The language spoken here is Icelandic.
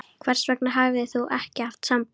Hvers vegna hafðir ÞÚ ekki haft samband?